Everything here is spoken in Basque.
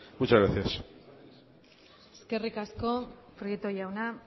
muchas gracias eskerrik asko prieto jauna